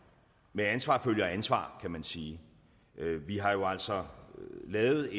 med ansvar følger ansvar kan man sige vi har jo altså lavet